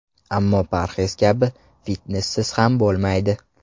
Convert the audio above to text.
Ammo parhez kabi, fitnessiz ham bo‘lmaydi.